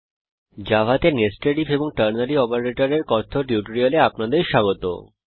জাভাতে nested I F এবং ternary operator এর কথ্য টিউটোরিয়ালে আপনাদের স্বাগত